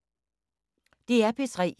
DR P3